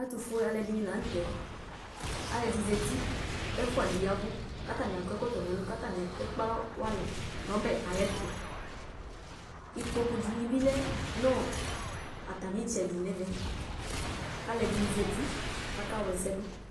Ɛtufue aluɛdini la nu tɛ aluɛdi zati ku ɛfuadi yavu katani akɔ ɛkɔtɔ katani ekpe alɔ wani nu ɔbɛtu ikpoku dini bi lɛ nu atami itsɛdi nɛmɛ kaluɛdini zati ɣla ɛsɛdu